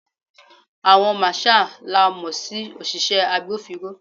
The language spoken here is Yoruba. Àwọn marshal la mo sí òṣìṣẹ́ agbófinró.